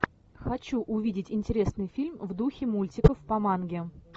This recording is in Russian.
хочу увидеть интересный фильм в духе мультиков по манге